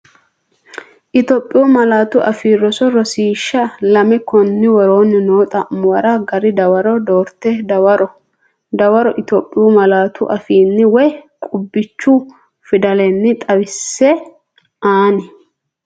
Itophiyu Malaatu Afii Roso Rosiishsha Lame Konni woroonni noo xa’muwara gari dawaro doorte dawaro Itophiyu malaatu afiinni woy qubbichu fidalenni xawisse, anni?